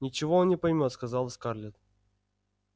ничего он не поймёт сказала скарлетт